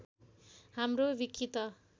हाम्रो विकि त